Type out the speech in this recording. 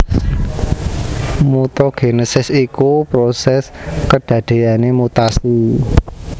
Mutagénesis iku prosés kedadéyané mutasi